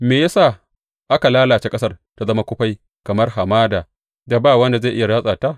Me ya sa aka lalace ƙasar ta zama kufai kamar hamada da ba wanda zai iya ratsa ta?